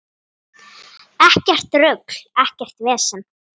Ekkert rugl, ekkert vesen.